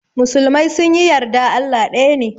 Musulmai sunyi yarda Allah daya ne.